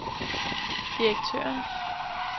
direktøren